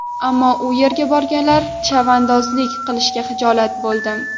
Ammo u yerga borganda, chavandozlik qilishga hijolat bo‘ldim.